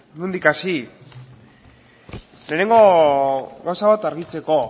bueno nondik hasi lehenengo gauza bat argitzeko